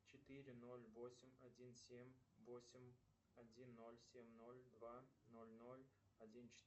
четыре ноль восемь один семь восемь один ноль семь ноль два ноль ноль один четыре